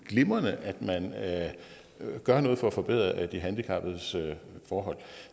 glimrende at man gør noget for at forbedre de handicappedes forhold